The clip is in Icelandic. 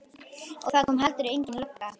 Og það kom heldur engin lögga.